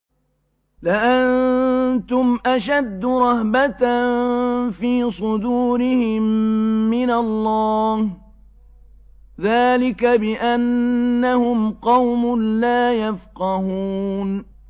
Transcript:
لَأَنتُمْ أَشَدُّ رَهْبَةً فِي صُدُورِهِم مِّنَ اللَّهِ ۚ ذَٰلِكَ بِأَنَّهُمْ قَوْمٌ لَّا يَفْقَهُونَ